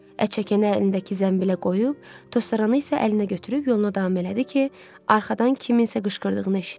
Ətçəkəni əlindəki zənbilə qoyub, tozsoranı isə əlinə götürüb yoluna davam elədi ki, arxadan kimsənin qışqırdığını eşitdi.